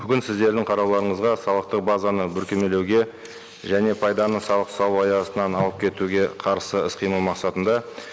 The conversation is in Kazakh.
бүгін сіздердің қарауларыңызға салықтық базаны бүркемелеуге және пайданы салық салу аясынан алып кетуге қарсы іс қимыл мақсатында